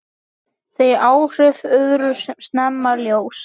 Þau áhrif urðu snemma ljós.